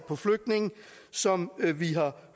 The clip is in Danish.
på flygtninge som vi har